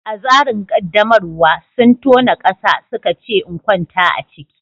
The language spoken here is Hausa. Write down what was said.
A tsarin qaddamarwa, sun tona ƙasa suka ce in kwanta a ciki.